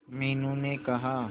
मीनू ने कहा